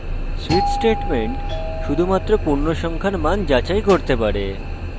switch statement শুধুমাত্র পূর্ণসংখ্যার মান যাচাই করতে পারে